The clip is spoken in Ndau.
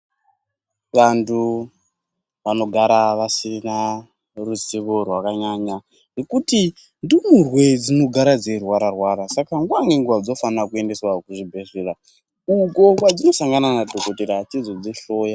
Vandu vanogara vasina ruzivo rwakanyanya nekuti ndimurwe dzinogara dziirwara -rwara saka nguva ngenguva dzinofana kuendeswa kuzvibhedhlera uko kwadzinosangana nadhokodhera achizodzi hloya.